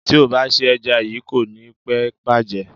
Tí o bá se ẹja yíì, kò ní pẹ́ bàjẹ́.